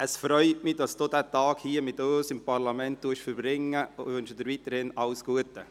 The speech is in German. Ich freue mich, dass Sie diesen Tag hier mit uns im Parlament verbringen, und wünsche Ihnen weiterhin alles Gute.